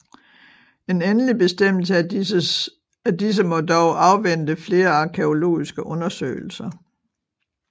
En endelig bestemmelse af disse må dog afvente flere arkæologiske undersøgelser